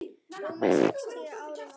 rúmum sextíu árum áður.